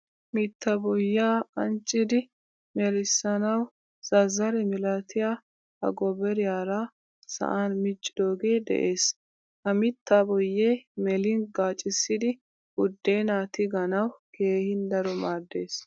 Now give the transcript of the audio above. Mitta boyyiyaa anccidi melisanawu zazzare milatiyaa agobariyaara sa'an miccidoge de'ees. Ha mitta boyye melin gaccisidi buddena tiganawu keehin daro maaddees.